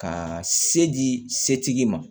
Ka se di setigi ma